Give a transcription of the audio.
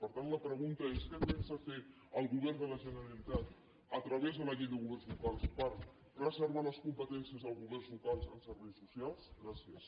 per tant la pregunta és què pensa fer el govern de la generalitat a través de la llei de governs locals per preservar les competències dels governs locals en serveis socials gràcies